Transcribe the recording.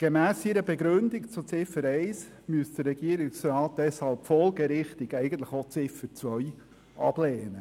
Laut seiner Begründung zu Ziffer 1 müsste er folgerichtig auch Ziffer 2 ablehnen –